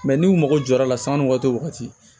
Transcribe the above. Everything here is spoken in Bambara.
n'u mago jɔra a la sanni waati